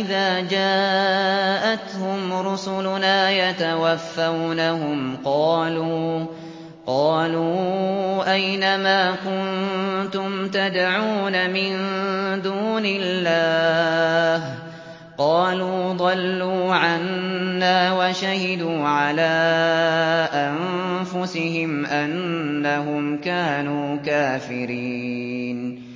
إِذَا جَاءَتْهُمْ رُسُلُنَا يَتَوَفَّوْنَهُمْ قَالُوا أَيْنَ مَا كُنتُمْ تَدْعُونَ مِن دُونِ اللَّهِ ۖ قَالُوا ضَلُّوا عَنَّا وَشَهِدُوا عَلَىٰ أَنفُسِهِمْ أَنَّهُمْ كَانُوا كَافِرِينَ